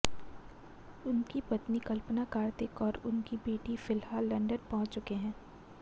उनकी पत्नी कल्पना कार्तिक और उनकी बेटी फिलहाल लंदन पहुंच चुके हैं